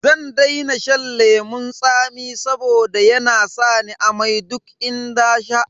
Zan daina shan lemun tsami saboda yana sa ni amai duk in nasha.